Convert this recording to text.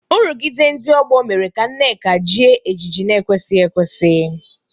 Nrụgide ndị ọgbọ mere ka Nneka jie ejiji na-ekwesịghị ekwesị.